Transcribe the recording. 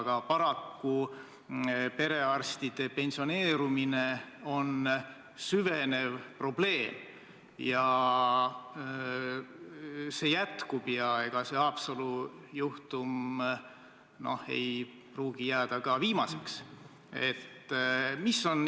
Aga paraku on perearstide pensioneerumine süvenev probleem, see jätkub, ja ega Haapsalu juhtum ei pruugi jääda ka viimaseks.